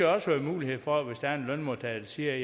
også være mulighed for det hvis der er en lønmodtager der siger